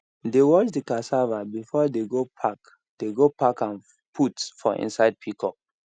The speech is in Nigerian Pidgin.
they wash the cassava before they go pack they go pack am put for inside pickup